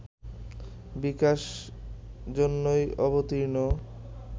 বিকাশ জন্যই অবতীর্ণ